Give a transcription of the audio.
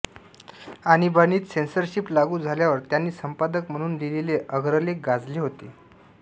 आणीबाणीत censorship लागू झाल्यावर त्यांनी संपादक म्हणून लिहिलेले अग्रलेख गाजले होते